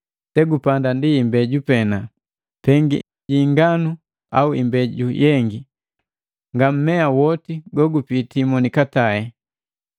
Segupanda ndi imbeju pena, pengi ji inganu au imbeju yengi, nga mmea woti gogupiti monikatae.